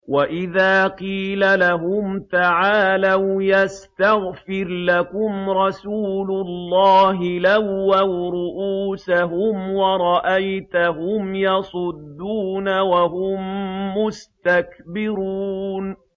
وَإِذَا قِيلَ لَهُمْ تَعَالَوْا يَسْتَغْفِرْ لَكُمْ رَسُولُ اللَّهِ لَوَّوْا رُءُوسَهُمْ وَرَأَيْتَهُمْ يَصُدُّونَ وَهُم مُّسْتَكْبِرُونَ